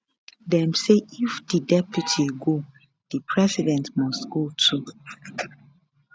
dem say if di deputy go di president must go too